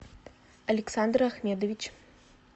александр ахмедович